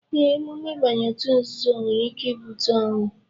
Ee, emume ịbanye òtù nzuzo nwere ike ibute ọnwụ